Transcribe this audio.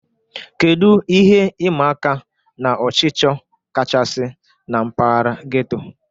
Kedu ihe ịma aka na ọchịchọ kachasị na mpaghara getto?